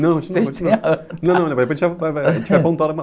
Não, continua, continua.risos)ão, não, depois a gente já vai, vai voltar numa...